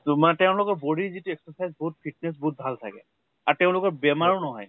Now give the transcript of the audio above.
তোমাৰ তেওঁলোকৰ body ৰ যিটো exercise বহুত fitness বিহুত ভাল থাকে। আৰু তেওঁলোকৰ বেমাৰো নহয়।